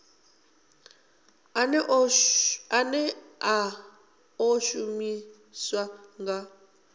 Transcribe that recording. ane a ḓo shumiswa nga